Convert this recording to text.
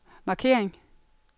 markering